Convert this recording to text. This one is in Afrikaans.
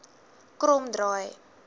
kromdraai